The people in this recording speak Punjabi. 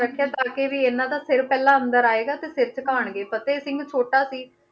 ਰੱਖਿਆ ਤਾਂ ਕਿ ਵੀ ਇਹਨਾਂ ਦਾ ਸਿਰ ਪਹਿਲਾਂ ਅੰਦਰ ਆਏਗਾ ਤੇ ਸਿਰ ਝੁਕਾਉਣਗੇ, ਫ਼ਤਿਹ ਸਿੰਘ ਛੋਟਾ ਸੀ,